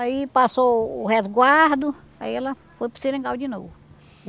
Aí passou o resguardo, aí ela foi para o seringal de novo.